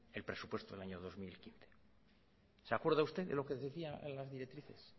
el presupuesto del año dos mil quince se acuerda usted de lo que decía en las directrices